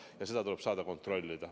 Ja seda tuleb saada kontrollida.